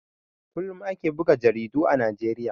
Kullum ake buga jaridu a Najeriya.